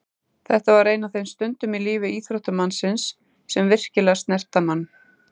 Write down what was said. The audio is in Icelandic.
Þetta var ein af þeim stundum í lífi íþróttamanns sem virkilega snerta mann.